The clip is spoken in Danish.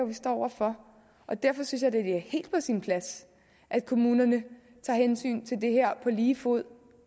vi står over for og derfor synes jeg da det er helt på sin plads at kommunerne tager hensyn til det her på lige fod